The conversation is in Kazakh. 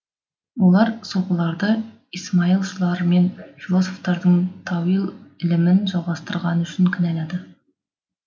олар сопыларды исмаилшылармен философтардың тауил ілімін жалғастырғаны үшін кінәлады